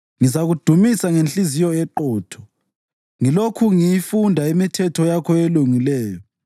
Ngizakudumisa ngenhliziyo eqotho ngilokhu ngiyifunda imithetho yakho elungileyo.